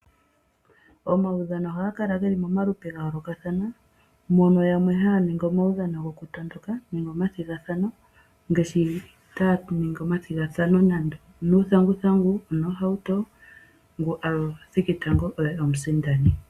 Omaudhano ohaga kala pamaludhi ga yoolokathana mono yamwe haya ningi omaudhano gokutondoka nenge omathigathano ngaashi omathigathano guuthanguthangu nenge noohauto, ngu a thiki tango oye omusindani.